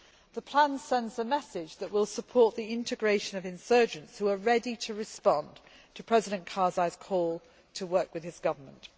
The plan sends a message that we will support the integration of insurgents who are ready to respond to President Karzai's call to work with his government.